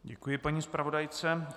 Děkuji paní zpravodajce.